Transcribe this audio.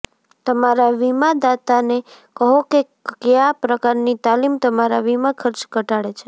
તમારા વીમાદાતાને કહો કે કયા પ્રકારની તાલીમ તમારા વીમા ખર્ચ ઘટાડે છે